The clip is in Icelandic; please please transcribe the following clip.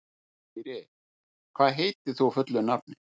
Dýri, hvað heitir þú fullu nafni?